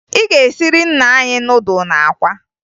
Ị ga-esiri nna anyị nudụ na akwa!